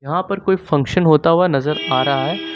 यहाँ पर कोई फंक्शन होता हुआ नजर आ रहा है।